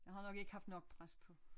Jeg har nok ikke haft nok pres på